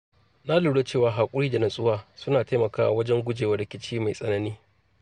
Na lura cewa haƙuri da nutsuwa suna taimakawa wajen gujewa rikici mai tsanani.